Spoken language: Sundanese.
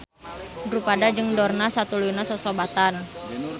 Drupada jeung Dorna satuluyna sosobatan.